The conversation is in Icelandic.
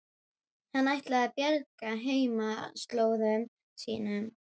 Hann ætlaði að bjarga heimaslóðum sínum.